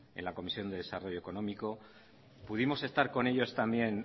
en la comisión de desarrollo económico pudimos estar con ellos también